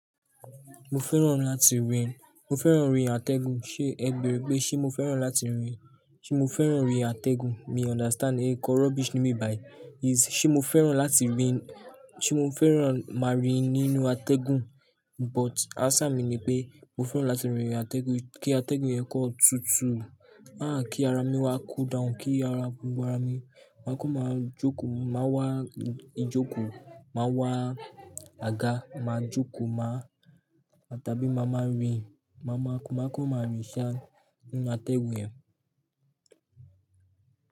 Mo fẹ́ràn láti rin, mo fẹ́ràn rin atẹ́gùn. Ṣé ẹ gbé pé ṣé mo fẹ́ràn láti rin? Ṣé mo fẹ́ràn rí atẹ́gùn? Mi o understand ẹ kọ rubbish fun mi bai. Is ṣé mo fẹ́ràn láti rin, ṣé mo fẹ́ràn máa rìn nínú atẹ́gùn? But answer mi ni pé mo fẹ́ràn láti rìnrìn atẹ́gùn. Kí atẹ́gùn yẹn kàn tutù. Háà kí ara mi wá cool down, kí ara, ara mi má kó máa jókòó, má wá ijoko, má wá aga, má jókòó, má tabi má má rìn, má kó má kó má rìn ṣá nínú atẹ́gùn yẹn.